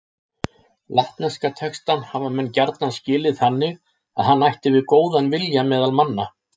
Latneska textann hafa menn gjarna skilið þannig að hann ætti við góðan vilja meðal manna.